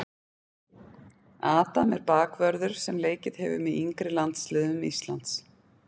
Adam er bakvörður sem leikið hefur með yngri landsliðum Íslands.